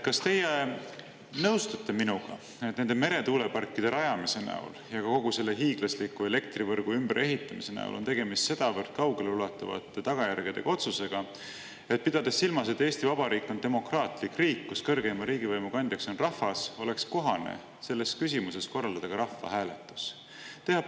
Kas teie nõustute minuga, et nende meretuuleparkide rajamise näol ja kogu selle hiiglasliku elektrivõrgu ümberehitamise näol on tegemist sedavõrd kaugeleulatuvate tagajärgedega otsusega, pidades silmas, et Eesti Vabariik on demokraatlik riik, kus kõrgeima riigivõimu kandja on rahvas, oleks kohane selles küsimuses korraldada ka rahvahääletus?